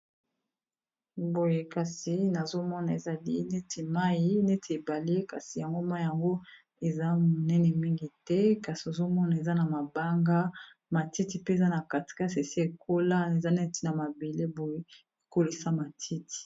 Boye kasi nazomona ezali neti mai neti ebale kasi yango mai yango eza monene, mingi te kasi ozomona eza na mabanga matiti pe eza na katekase esi ekola eza neti na mabele boye ekolisa matiti.